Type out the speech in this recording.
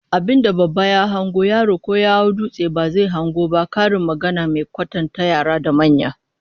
Abin da babba ya hango, yaro ko ya hau dutse ba zai hango ba, karin magana mai kwatanta yara da manya